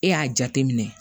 E y'a jate minɛ